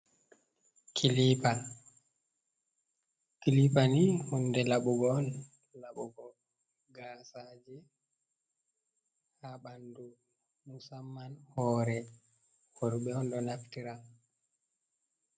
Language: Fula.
Kliper kilipani hunde laɓugo gasa hoore worɓe bandu musamman hore worbe on do naftira